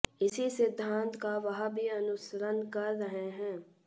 इसी सिद्धांत का वह भी अनुसरण कर रहे हैं